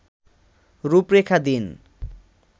রূপরেখা দিন